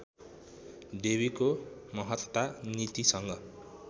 देवीको महत्ता नीतिसँग